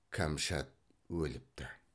кәмшат өліпті